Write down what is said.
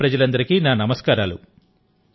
మోధేరా ప్రజలందరికీ నా నమస్కారాలు